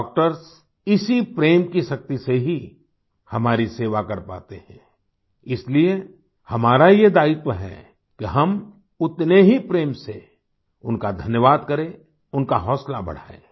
doctors इसी प्रेम की शक्ति से ही हमारी सेवा कर पाते हैं इसलिए हमारा ये दायित्व है कि हम उतने ही प्रेम से उनका धन्यवाद करें उनका हौसला बढ़ाएँ